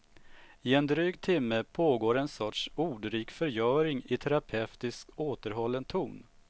I en dryg timme pågår en sorts ordrik förgöring i terapeutiskt återhållen ton.